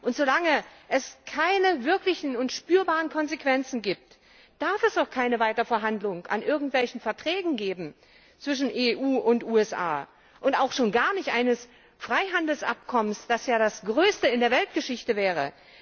Und so lange es keine spürbaren und wirklichen Konsequenzen gibt, darf es auch keine Weiterverhandlung über irgendwelche Verträge zwischen EU und USA geben, schon gar nicht über ein Freihandelsabkommen, das ja das größte in der Weltgeschichte wäre.